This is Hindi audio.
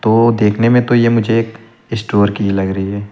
वो देखने में तो यह मुझे एक स्टोर की ही लग रही है।